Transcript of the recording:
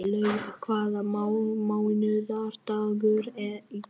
Laufar, hvaða mánaðardagur er í dag?